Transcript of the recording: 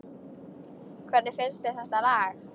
Hvernig finnst þér þetta lag?